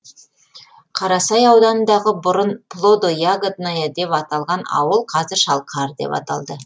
қарасай ауданындағы бұрын плодо ягодная деп аталған ауыл қазір шалқар деп аталды